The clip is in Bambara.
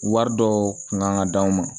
Wari dɔw kun kan ka d'aw ma